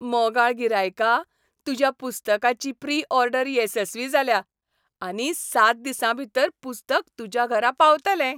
मोगाळ गिरायका, तुज्या पुस्तकाची प्री ऑर्डर येसस्वी जाल्या आनी सात दिसांभीतर पुस्तक तुज्या घरा पावतलें.